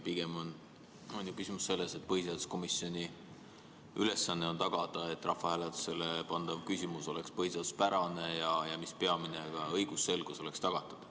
Pigem on ju küsimus selles, et põhiseaduskomisjoni ülesanne on tagada, et rahvahääletusele pandav küsimus oleks põhiseaduspärane, ja mis peamine, ka õigusselgus oleks tagatud.